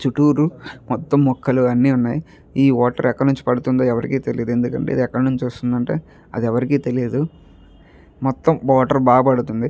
చుట్టూరు మొత్తం మెక్కలు అన్నీ ఉన్నాయి. ఈ వాటర్ ఎక్కడి నుంచి పడుతుందో ఎవరికీ తెలియదు. ఎందుకంటే ఇది ఎక్కడి నుంచి వస్తుందంటే అది ఎవరికీ తెలియదు. మొత్తం వాటర్ బాగా పడుతుంది.